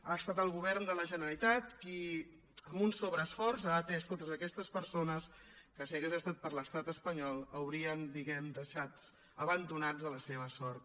ha estat el govern de la generalitat qui amb un sobreesforç ha atès totes aquestes persones que si hagués estat per l’estat espanyol els haurien diguem ne deixats abandonats a la seva sort